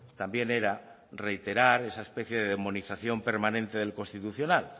también era reiterar esa especie de demonización permanente del constitucional